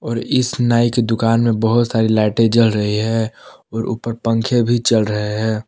और इस नाई की दुकान में बहुत सारी लाइटें जल रही है और ऊपर पंखे भी चल रहे हैं।